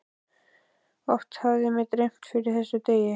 Oft hafði mig dreymt fyrir þessum degi.